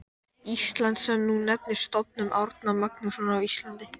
Íslands, sem nú nefnist Stofnun Árna Magnússonar á Íslandi.